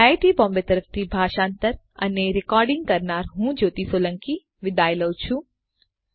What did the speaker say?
IIT Bombay તરફથી ભાષાંતર કરનાર હું જ્યોતિ સોલંકી વિદાય લઉં છું